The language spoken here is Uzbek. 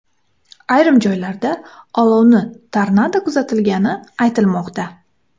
Ayrim joylarda olovni tornado kuzatilgani aytilmoqda.